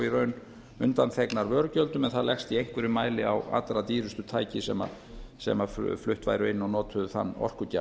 raun undanþegnar vörugjöldum en það leggst í einhverjum mæli á allra dýrustu tæki sem flutt væru inn og notuðu þann orkugjafa